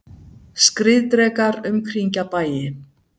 Skriðdrekar umkringja bæi